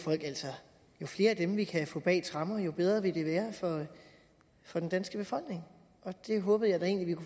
jo flere af dem vi kan få bag tremmer jo bedre vil det være for den danske befolkning og det håbede